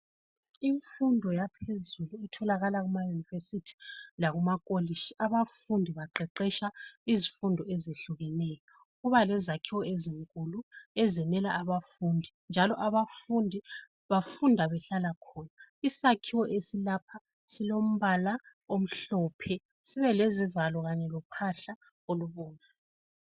Imfundo yaphezulu etholakala kuma university lakuma kolishi, abafundi baqeqesha izifundo ezehlukeneyo. Kuba lezakhiwo ezinkulu ezimela abafundi, njalo abafundi bafunda behlala khona. Isakhiwo esilapha silombala omhlophe, sibe lezivalo kanye lophahla olubomvu.